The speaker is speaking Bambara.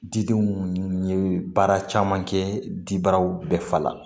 Didenw ye baara caman kɛ dibaraw bɛɛ fa la